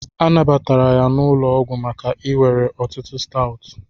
A nabatara ya n'ụlọ ọgwụ maka iwere ọtụtụ Stout